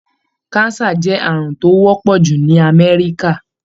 Cancer jẹ́ àrùn tó wọ́pọ̀ jù ní Amẹ́ríkà.